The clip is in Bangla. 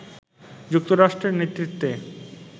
যুক্তরাষ্ট্রের নেতৃত্বে